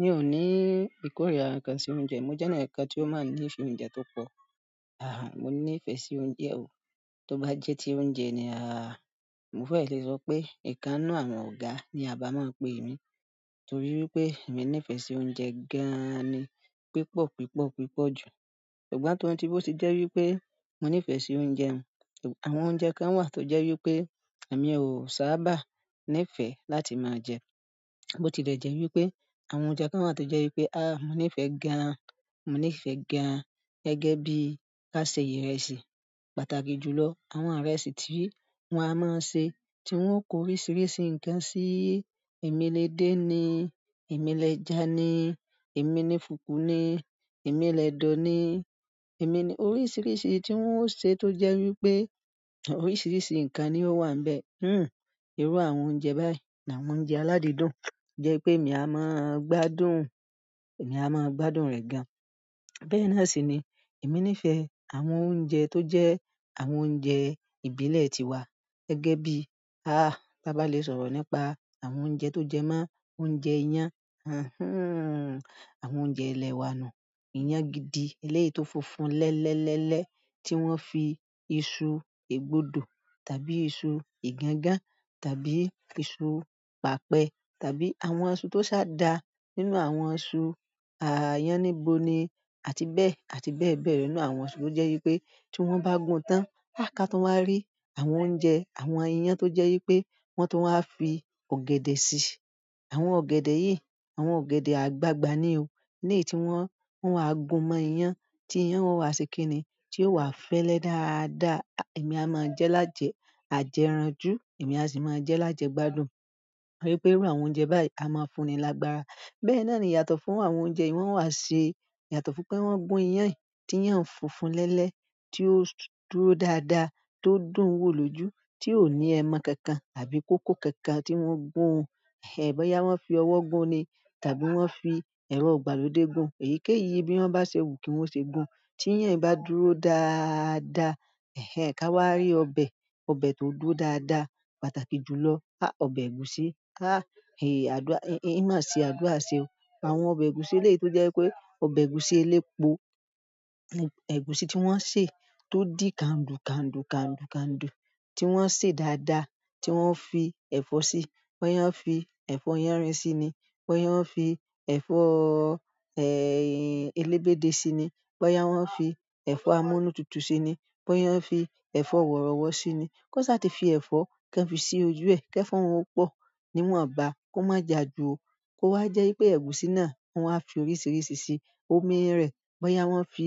Mi ò ní ìkórìíra kankan sí oúnjẹ. Mo jẹ́ ẹni kan tí ó máa ń ní ìfẹ́ oúnjẹ tó pọ̀. Ah, mo ní ìfẹ́ sí oúnjẹ o. Tóbá jẹ́ ti oúnjẹ ni, ah, mo fẹ́ lè sọ pé ìkan nínú àwọn ọ̀gá ni à bá mọ́n pè mí torí wípé èmi ní ìfẹ́ sí oúnjẹ gan-an ni pípọ̀, pípọ̀, pípọ̀ jù. Ṣùgbọ́n to n ti bó ti jẹ́ wípé mo ní ìfẹ́ sí oúnjẹ, àwọn oúnjẹ kan wà tó jẹ́ wípé èmi ò sábà nífẹ̀ẹ́ láti máa jẹ ẹ́. Bó ti lè jẹ́ wípé àwọn oúnjẹ kan wà tó jẹ́ wípé, ah, mo ní ìfẹ́ gan-an, mo ní ìfẹ́ gan-an gẹ́gẹ́ bí ká se ìrẹsì pàtàkì jù lọ. Àwọn ìrẹsì tí wọ́n á máa ń ṣe tí wọ́n kó oríṣiríṣi ǹkan sí i. Èmi lè dé ni, èmi lè jà ni, èmi ni fùkù ni, èmi lẹ̀dọ̀ ni, èmi ni-- oríṣiríṣi tí wọ́n ó ṣe tó jẹ́ wípé oríṣiríṣi ǹkan ni ó wà ńbẹ̀. Hmm, irú àwọn oúnjẹ báyìí ni àwọn oúnjẹ aládìídùn jẹ́ pé èmi a máa ń gbádùn, èmi a máa ń gbádùn rẹ̀ gan-an. Bẹ́ẹ̀ náà sì ni èmi ní ìfẹ́ àwọn oúnjẹ tó jẹ́ àwọn oúnjẹ ìbílẹ̀ tiwa gẹ́gẹ́ bí, ah, báa bá lè sọ̀rọ̀ nípa àwọn oúnjẹ tó jẹ mọ́, oúnjẹ iyàn, hanhan, àwọn oúnjẹ ilẹ̀ wa nù. Ìyàn gidi ẹlẹ́yìí tó funfun lẹ́lẹ́, lẹ́lẹ́ tí wọ́n fi iṣu égbodò tàbí iṣu ìgangán tàbí iṣu pàpẹ tàbí àwọn iṣu tó sá da nínú àwọn iṣu, à, yáníbo ni àti bẹ́ẹ̀ àti bẹ́ẹ̀ bẹ́ẹ̀ lọ nínú àwọn iṣu tó jẹ́ wípé tí wọ́n bá gun tán, ká tún wáá rí àwọn oúnjẹ, àwọn iyàn tó jẹ́ wípé wọ́n tó wáá fi ọ̀gẹ̀dẹ̀ sí i. Àwọn ọ̀gẹ̀dẹ̀ yìí, àwọn ọ̀gẹ̀dẹ̀ àgbagbà ni o. Lẹ́yìí tí wọ́n, wọ́n á gun mọ́ iyàn tí iyàn wọ́n á ṣe kín ni tí yóò wá fẹ́lẹ́ dáadáa. Èmi a máa jẹ́ lájẹ̀ ẹ àjẹranjú, èmi a sì máa jẹ́ lájẹ̀ gbádùn. Torí pé irú àwọn oúnjẹ báyìí a máa ń fún ni lágbára. Bẹ́ẹ̀ náà ni yàtọ̀ fún àwọn oúnjẹ yìí wọ́n wá ṣe yàtọ̀ fún pé wọ́n gùn iyàn yìí tí iyàn funfun lẹ́lẹ́ tí ó dúró dáadáa tó dùn wò lójú tí ò ní ẹmọ kankan àbí kókó kankan tí wọ́n gùn ún. Ẹ̀, bóyá wọ́n fi ọwọ́ gùn ni tàbí wọ́n fi ẹ̀rọ gbàlódé gùn, èyíkéyìí bí wọ́n bá ṣe wù kí wọ́n ṣe gùn. Tí ìyàn bá dúró dáadáa, ẹ́hẹ́n, ká wá rí ọbẹ̀, ọbẹ̀ tó dúró dáadáa pàtàkì jù lọ. Há, ọbẹ̀ ẹ̀gúsí. Há, eè àdúrà, ń máa si àdúrà se o. Àwọn ọbẹ̀ ẹ̀gúsí eléyìí tó jẹ́ pé ọbẹ̀ ẹ̀gúsí elépo, ẹ̀gúsí tí wọ́n sè tó di kandu kandu kandu kandu tí wọ́n sè dáadáa tí wọ́n fi ẹ̀fọ́ sí i. Bóyá wọ́n fi ẹ̀fọ́ yánrin sí i ni, bóyá wọ́n fi ẹ̀fọ́, ẹ́, elébéde sí i ni, bóyá wọ́n fi ẹ̀fọ́ amúnú tutù sí i ni, bóyá wọ́n fi ẹ̀fọ́ wọ̀rọ̀wọ́ sí i ni. Kó ṣà ti fi ẹ̀fọ́ kan fi sí ojú ẹ, kí ẹ̀fọ́ òun ó pọ̀ níwọ̀nba kó má ja jù o. Kó wá jẹ́ wípé ẹ̀gúsí náà wọ́n á fi oríṣiríṣi sí i. Omi rẹ̀, bóyá wọ́n fi,